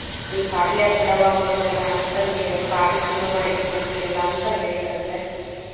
ಏ ಭಾರಿ ಆಯ್ತ್ ಬಿಡವಾ ಒಬ್ಳೆ ಮಗಳ ಅಂತ ಅಂದ ಭಾರಿ ಚೊಲೊ ಮಾಡಿದ್ರ ಮದ್ವಿ ಎಲ್ಲ ಅಂತ ಹೇಳಿದ್ರಂತ.